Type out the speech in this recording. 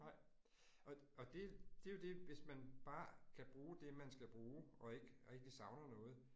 Nej og og det, det jo det, hvis man bare kan bruge det, man skal bruge, og ikke rigtig savner noget